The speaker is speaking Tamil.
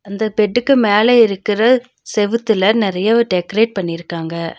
அந்த பெட்டுக்கு மேல இருக்கற செவுத்துல நெறையவு டெக்கரேட் பண்ணிருக்காங்க.